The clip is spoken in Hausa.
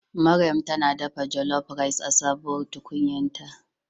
Maryam ta dafa jollof rice a sabuwar tukunyarta.